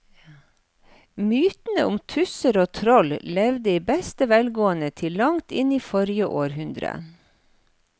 Mytene om tusser og troll levde i beste velgående til langt inn i forrige århundre.